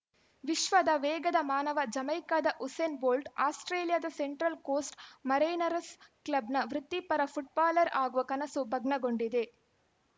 ವಿಶ್ವದ ವೇಗದ ಮಾನವ ಜಮೈಕಾದ ಉಸೇನ್‌ ಬೋಲ್ಟ್‌ ಆಸ್ಪ್ರೇಲಿಯಾದ ಸೆಂಟ್ರಲ್‌ ಕೋಸ್ಟ್‌ ಮರೈನರ್‍ಸ್ ಕ್ಲಬ್‌ನ ವೃತ್ತಿಪರ ಫುಟ್ಬಾಲರ್‌ ಆಗುವ ಕನಸು ಭಗ್ನಗೊಂಡಿದೆ